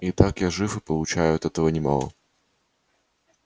итак я жив и получаю от этого немало